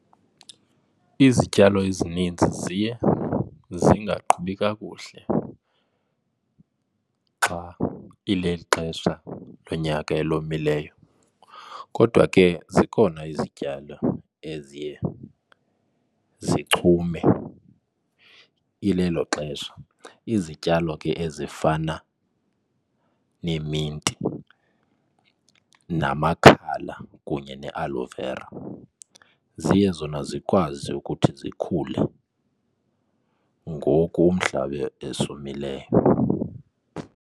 Izityalo ezininzi ziye zingaqhubi kakuhle xa ileli xesha lonyaka elomileyo. Kkodwa ke zikhona izityalo eziye zichume ilelo xesha izityalo ke ezifana neeminti, namakhala kunye ne-aloe vera. Ziye zona zikwazi ukuthi zikhule ngoku umhlaba esomileyo.